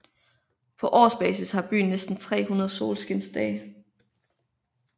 På årsbasis har byen næsten 300 solskinsdage